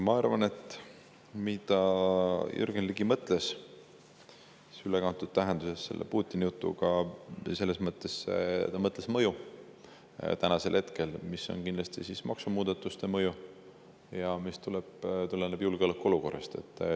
Ma arvan, et Jürgen Ligi mõtles selle ülekantud tähenduses Putini-jutuga julgeolekuolukorrast tulenevate maksumuudatustega mõju.